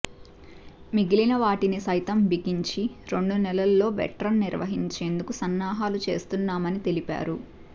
మిగిలిన వాటిని సైతం బిగించి రెండు నెలల్లో వెట్ రన్ నిర్వహించేందకు సన్నాహలు చేస్తున్నామని తెలిపారు